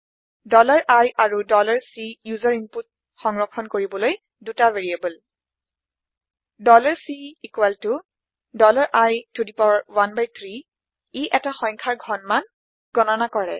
i আৰু C ওচেৰ input সংৰক্ষন কৰিবলৈ ২টা ভেৰিয়েবল Cই13 ই ১টা সংখ্যাৰ ঘনমান গণনা কৰে